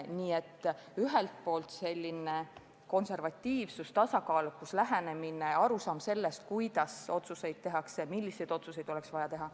Nii et ühelt poolt selline konservatiivsus, tasakaalukas lähenemine ja arusaam sellest, kuidas otsuseid tehakse, milliseid otsuseid oleks vaja teha.